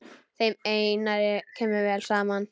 Þeim Einari kemur vel saman.